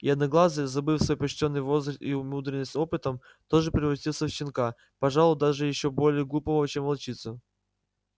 и одноглазый забыв свой почтенный возраст и умудрённость опытом тоже превратился в щенка пожалуй даже ещё более глупого чем волчица